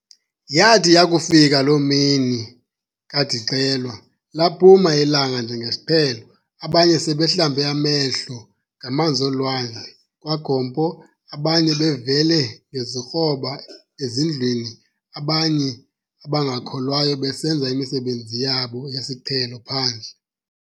Yathi yakufika loo mini kad'ixelwa, laphuma ilanga njengesiqhelo, abanye sebehlambe amehlo ngamanz'olwandle kwaGompo, abanye bevele ngezikroba ezindlwini, abanye abangakholwayo besenza imisebenzi yabo yesiqhelo phandle.